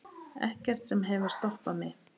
Ekkert sem hefur stoppað mig.